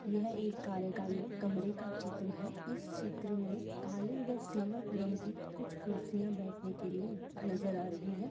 यह एक कार्यकालय कमरे का चित्र है इस चित्र में काले व सिल्वर रंग की कुछ कुर्सियां बैठने के लिए नजर आ रही है।